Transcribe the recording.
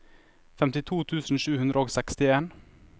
femtito tusen sju hundre og sekstien